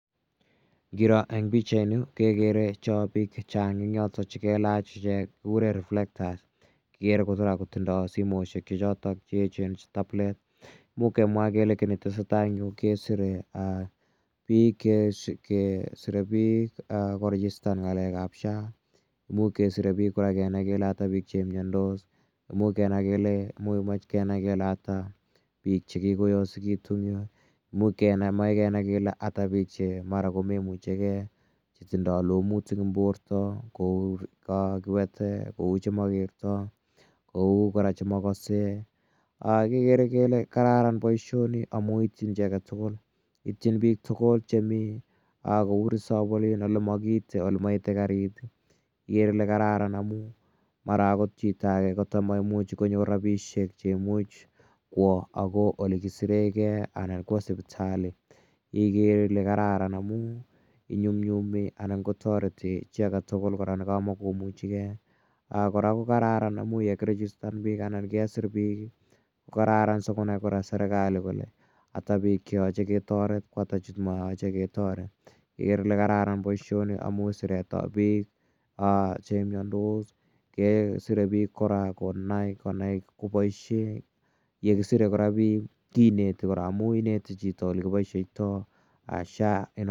Ngiro eng' pichaini kekere chon piik che chang' chotok che kelach ichek, kikure reflectors. Kikere kora kotindai simoshek che chotok che echen che tablet. Imuch kemwa kele ki ne tese tai en yu kesire pik korejistan ng'alek ap SHA. Imuch kesire pik kora kenai kele ata che imiandos, imuch mache kenai kele ata pik che kikoyosekitu, imuch kenai kele ata ki piik che mara ko memuchigei, che tindai lomutik eng' porto kou kiwete, kou che makertai, kou kora che makase kekere kele kararan poishoni amu itchin chi age tugul. Itchin piik tugul chemi kou resop olin ole ma kiite, ole maite karit ikere ile kararan amu mara akot chito age kata maimuchi manyor rapishek kowa akoi ole kisirei ge anan kowa sipitali, igere ile kararan amu inyumnyumi anan ko tareti chi age tugul ne kamakomuchige. Kora ko kararan amu ye kirejistan piik anan kesir piik ko kararan sikonai kora serkali kole ata piik che yache ketaret ko ata che ma yache ketaret, igere ile kararan poishoni amh siret ap piik che miandos kesire piik kora konai kopaishe, ye kisire kora piik kineti kora amu ineti chito ole kipaisheitai SHA.